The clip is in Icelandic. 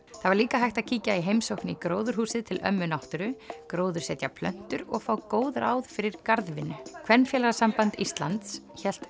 það var líka hægt að kíkja í heimsókn í gróðurhúsið til ömmu náttúru gróðursetja plöntur og fá góð ráð fyrir garðvinnu Kvenfélagasamband Íslands hélt